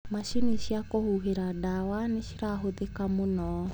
Macini cia kũhuhĩra ndawa nĩcirahũthĩka mũno.